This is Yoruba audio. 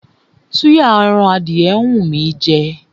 Súyà ẹran adìyẹ ń wú mí í jẹ.